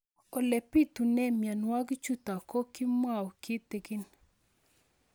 Ole pitune mionwek chutok ko kimwau kitig'ín